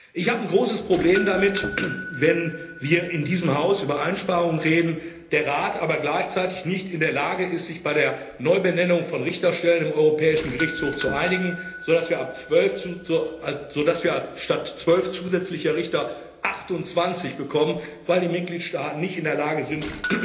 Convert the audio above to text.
Ich habe ein großes Problem damit, wenn wir in diesem Haus über Einsparungen reden, der Rat aber gleichzeitig nicht in der Lage ist, sich bei der Neubenennung von Richterstellen im Europäischen Gerichtshof zu einigen, sodass wir statt zwölf zusätzlicher Richter achtundzwanzig bekommen, weil die Mitgliedstaaten nicht in der Lage sind,